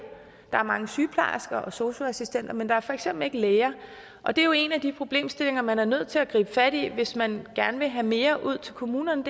der er mange sygeplejersker og sosu assistenter men der er for eksempel ikke læger og det er jo en af de problemstillinger man er nødt til at gribe fat i hvis man gerne vil have mere ud til kommunerne